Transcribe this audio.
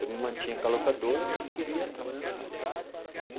Eu me mantinha com a locadora, mas queria trabalhar na área.